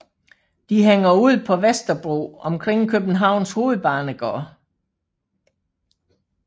De hænger ud på Vesterbro omkring Københavns Hovedbanegård